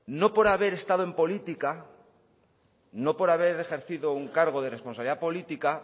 no por haber estado en política no por haber ejercido un cargo de responsabilidad política